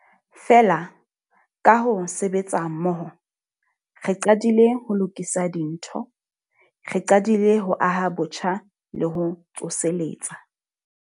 Feela, ka ho sebetsa mmoho, re qadile ho lokisa dintho. Re qadile ho aha botjha le ho tsoseletsa.